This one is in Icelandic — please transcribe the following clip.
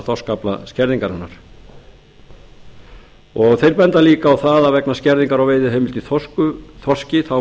þorskaflaskerðingarinnar þeir benda líka á það að vegna skerðingar á veiðiheimildum þorski